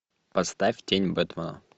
поставь тень бэтмена